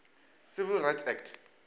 civil rights act